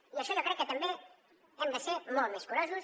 i en això jo crec que també hem de ser molt més curosos